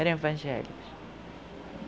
Eram evangélicos.